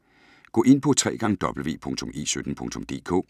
Gå ind på www.e17.dk